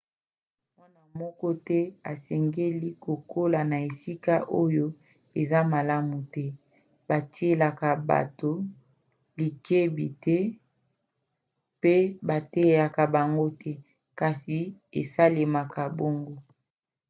mwana moko te asengeli kokola na esika oyo eza malamu te batielaka bato likebi te mpe bateyaka bango te kasi esalemaka bongo